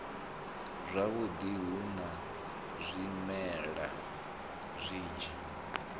zwavhudi hu na zwimela zwinzhi